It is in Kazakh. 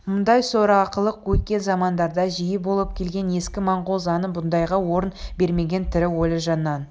мұндай сорақылық өткен замандарда жиі болып келген ескі монғол заңы бұндайға орын бермеген тірі өлі жаннан